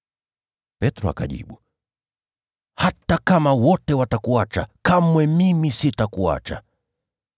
Petro akajibu, “Hata kama wote watakuacha, kamwe mimi sitakuacha.”